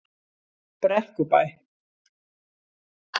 Brekkubæ